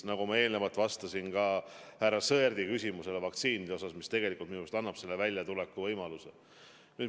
Nagu ma eelnevalt ütlesin, vastates härra Sõerdi küsimusele vaktsiinide kohta, annavad minu arust just vaktsiinid kriisist väljatuleku võimaluse.